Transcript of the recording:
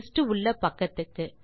list உள்ள பக்கத்துக்கு